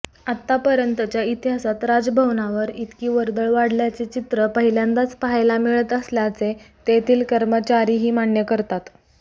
आतापर्यंतच्या इतिहासात राजभवनवर इतकी वर्दळ वाढल्याचे चित्र पहिल्यांदाच पाहायला मिळत असल्याचे तेथील कर्मचाऱ्यांही मान्य करतात